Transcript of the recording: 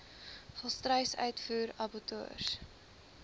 volstruis uitvoer abattoirs